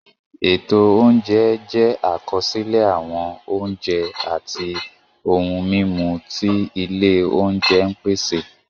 Ètò oúnjẹ jẹ́ àkọsílẹ̀ àwọn oúnjẹ àti ohun-mímu tí ilé oúnjẹ ń pèsè.